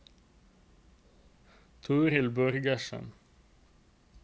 Toril Borgersen